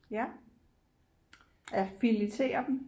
Ja ja filetere dem